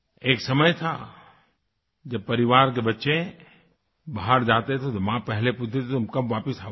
एक समय था जब परिवार के बच्चे बाहर जाते थे तो माँ पहले पूछती थी कि तुम कब वापिस आओगे